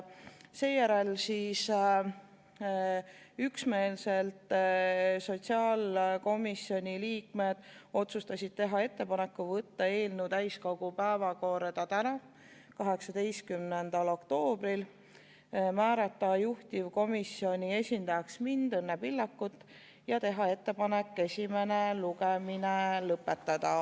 Seejärel siis sotsiaalkomisjoni liikmed üksmeelselt otsustasid teha ettepaneku võtta eelnõu täiskogu päevakorda täna, 18. oktoobril, määrata juhtivkomisjoni esindajaks mind, Õnne Pillakut, ja teha ettepaneku esimene lugemine lõpetada.